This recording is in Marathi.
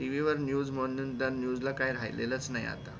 TV वर news त्या म्हणून त्या news ला काय राहिलेलं च नाही आता